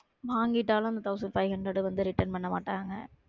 வாங்கிட்டாலும் thousand five hundred வந்து return பண்ண மாட்டாங்க